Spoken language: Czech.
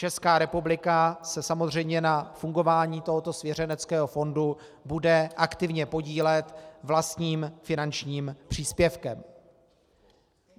Česká republika se samozřejmě na fungování tohoto svěřeneckého fondu bude aktivně podílet vlastním finančním příspěvkem.